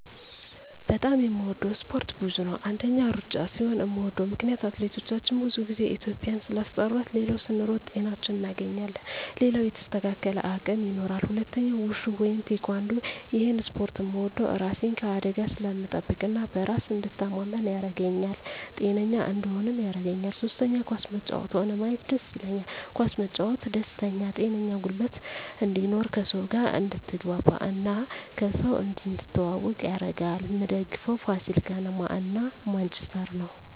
በጣም የምወደው እስፓርት ብዙ ነው አንደኛ እሩጫ ሲሆን ምወደው ምክነያት አትሌቶቻችን ብዙ ግዜ ኢትዩጵያን ስላስጠራት ሌላው ስንሮጥ ጤናችን እናገኛለን ሌላው የተስተካከለ አቅም ይኖራል ሁለተኛው ውሹ ወይም ቲካንዶ እሄን እስፖርት ምወደው እራሴን ከአደጋ ስለምጠብቅ እና በራሴ እንድተማመን ያረገኛል ጤነኛ እንድሆንም ያረገኛል ሶስተኛ ኳስ መጫወት ሆነ ማየት ደስ ይለኛል ኳስ መጫወት ደስተኛ ጤነኛ ጉልበት እንድኖር ከሰው ጋር አድትግባባ እና ከሰው እንድትተዋወቅ ያረጋል ምደግፈው ፋሲል ከነማ እና ማንችስተር ነው